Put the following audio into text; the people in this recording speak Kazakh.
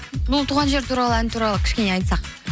бұл туған жер туралы ән туралы кішкене айтсақ